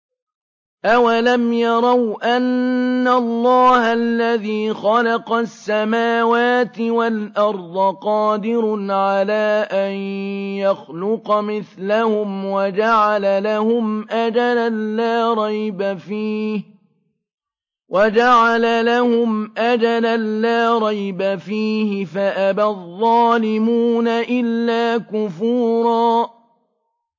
۞ أَوَلَمْ يَرَوْا أَنَّ اللَّهَ الَّذِي خَلَقَ السَّمَاوَاتِ وَالْأَرْضَ قَادِرٌ عَلَىٰ أَن يَخْلُقَ مِثْلَهُمْ وَجَعَلَ لَهُمْ أَجَلًا لَّا رَيْبَ فِيهِ فَأَبَى الظَّالِمُونَ إِلَّا كُفُورًا